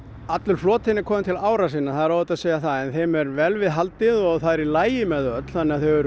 allur flotinn er kominn til ára sinna það er óhætt að segja það en þeim er vel við haldið og það er í lagi með þau öll þannig að þau eru